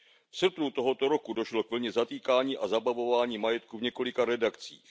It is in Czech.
V srpnu tohoto roku došlo k vlně zatýkání a zabavování majetku v několika redakcích.